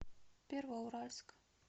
первоуральск